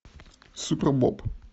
супербоб